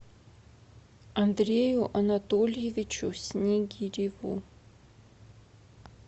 андрею анатольевичу снигиреву